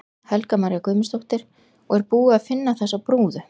Helga María Guðmundsdóttir: Og er búið að finna þessa brúðu?